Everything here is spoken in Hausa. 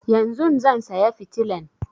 Yanzun zan saya fitilan